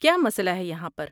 کیا مسئلہ ہے یہاں پر؟